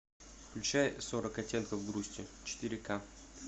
включай сорок оттенков грусти четыре ка